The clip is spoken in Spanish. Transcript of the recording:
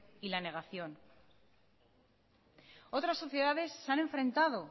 y la negación otras sociedades se han enfrentado